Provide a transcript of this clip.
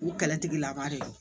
U kɛlɛtigilama de don